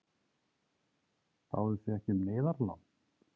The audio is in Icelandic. Báðuð þið ekki um neyðarlán?